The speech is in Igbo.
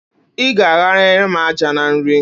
I ga-aghanyere m àjà na nri!